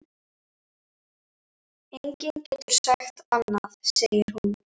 Enginn getur sagt annað, segir hún.